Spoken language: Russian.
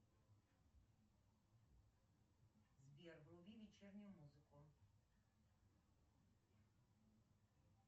сбер вруби вечернюю музыку